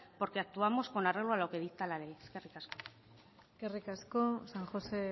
porque actuamos con arreglo a lo que dicta la ley eskerrik asko eskerrik asko san josé